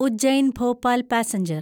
Ujjain Bhopal passenger